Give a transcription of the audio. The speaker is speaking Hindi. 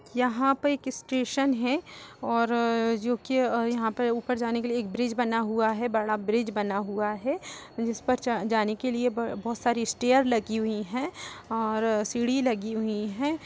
यहाँ पर एक स्टेशन है और जोकि यहाँ ऊपर जाने के लिए एक ब्रिज बना हुआ हैं बड़ा ब्रिज बना हुआ है जिस पर च जाने के लिए बहुत सारी स्टेयर लगी हुई हैं और सीढ़ी लगी हुई हैं।